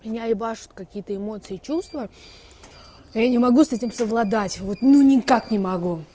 меня ебашут какие-то эмоции чувства я не могу с этим совладать вот ну никак не могу